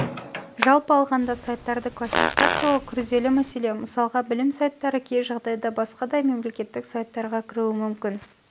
жалпы алғанда сайттарды классификациялау күрделі мәселе мысалға білім сайттары кей жағдайда басқадай мемлекеттік сайттарға кіруі мүмкін